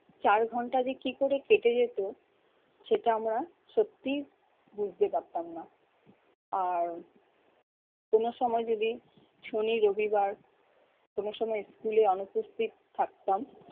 চার ঘন্টা যে কি করে কেটে যেত সেটা আমরা সত্যিই বুঝতে পারতাম না। আর কোন সময় যদি শনি রবিবার কোন সময় school এ অনুপস্থিত থাকতাম